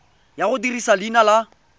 ya go dirisa leina la